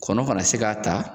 Kɔnɔ kana se k'a ta.